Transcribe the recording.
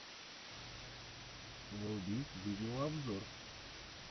вруби видеообзор